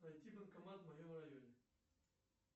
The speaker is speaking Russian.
найти банкомат в моем районе